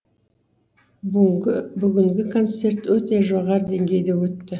бүгінгі бүгінгі концерт өте жоғары деңгейде өтті